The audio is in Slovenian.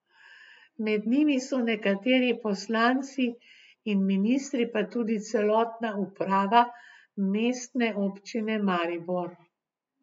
Med njimi so nekateri poslanci in ministri, pa tudi celotna uprava Mestne občine Maribor.